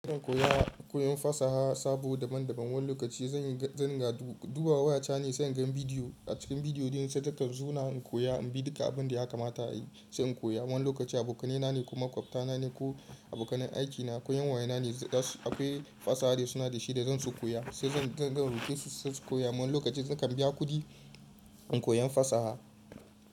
Ina iya koyan fasaha sabo daban daban. Wani lokaci zan yi, zan ga dubawa waya tane sai in ga bidiyo. A cikin bidiyo din saita suna in koya, in bi duka abun da ya kamata a yi sai in koya. Wani lokaci abokanai na ne kuma makwabta na ne ko abokanin aiki na ko 'yan waya na ne. Akwai fasaha da suna da shi da zan su koya, sai zan roke su sai su koya. Wani lokacin zakan biya kuɗi in koyan fasaha.